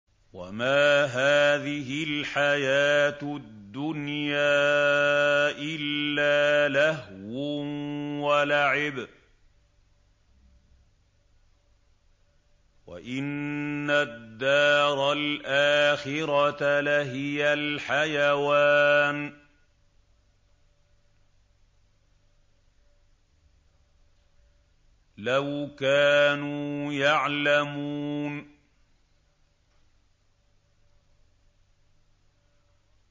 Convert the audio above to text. وَمَا هَٰذِهِ الْحَيَاةُ الدُّنْيَا إِلَّا لَهْوٌ وَلَعِبٌ ۚ وَإِنَّ الدَّارَ الْآخِرَةَ لَهِيَ الْحَيَوَانُ ۚ لَوْ كَانُوا يَعْلَمُونَ